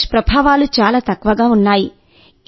దుష్ప్రభావాలు చాలా తక్కువగా ఉన్నాయి